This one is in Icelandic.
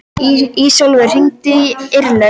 Ísólfur, hringdu í Irlaug.